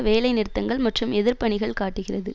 வேலைநிறுத்தங்கள் மற்றும் எதிர்ப்பு அணிகள் காட்டுகிறது